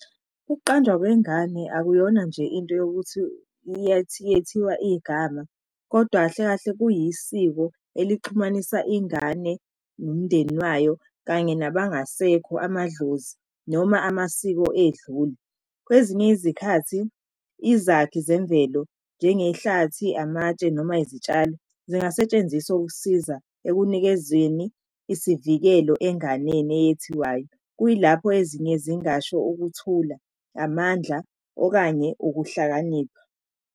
Ukuqanjwa kwengane akuyona nje into yokuthi iyethiwa igama, kodwa kahle kahle kuyisiko elixhumanisa ingane nomndeni wayo, kanye nabangasekho amadlozi, noma amasiko edlule. Kwezinye izikhathi, izakhi zemvelo njengehlathi, amatshe, noma izitshalo zingasetshenziswa ukusiza ekunikezweni isivikelo enganeni eyethiwayo. Kuyilapho ezinye zingasho ukuthula amandla okanye ukuhlakanipha.